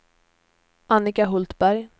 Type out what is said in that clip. Annika Hultberg